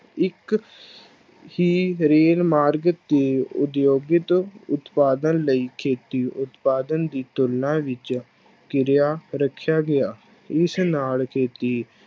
ਇੱਕ ਹੀ ਰੇਲ ਮਾਰਗ ਦੇ ਉਦਯੋਗਿਕ ਉਤਪਾਦਨ ਲਈ ਖੇਤੀ ਉਤਪਾਦਨ ਦੀ ਤੁਲਨਾ ਵਿੱਚ ਕਿਰਿਆ ਰੱਖਿਆ ਗਿਆ, ਇਸ ਨਾਲ ਖੇਤੀ